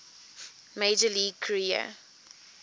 major league career